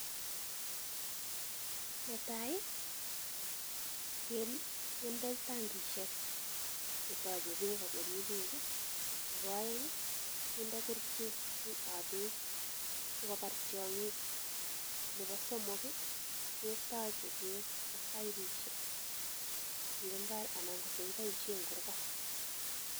Netai kendoi tangishek chetoche beek ak korib beek. Nebo oeng kinde kerichek ab beek sikobar tiong'iok. Nebo somok ketoche beek ak baibushek eng mbara anan ko chekiboishen en kurgat.